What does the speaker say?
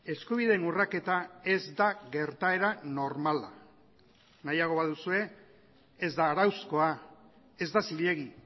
eskubideen urraketa ez da gertaera normala nahiago baduzue ez da arauzkoa ez da zilegi